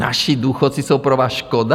Naši důchodci jsou pro vás škoda?